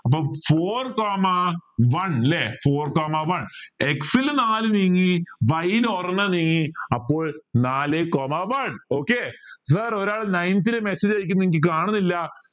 അപ്പൊ four comma one ല്ലേ four comma one x ൽ നാല് നീങ്ങി y ൽ ഒരെണ്ണം നീങ്ങി അപ്പൊ നാലേ comma one okay sir ഒരാൾ ninth ൽ message അയക്കുന്നു എനിക്ക് കാണുന്നില്ല